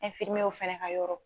ɛnfirimiyew fɛnɛ ka yɔrɔ